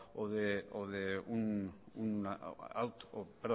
o